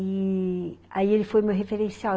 E... aí ele foi meu referencial.